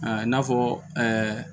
i n'a fɔ